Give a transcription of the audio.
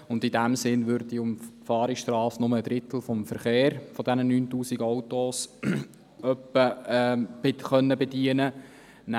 In diesem Sinne würde diese Umfahrungsstrasse nur einen Drittel dieser 9000 Autos bedienen können.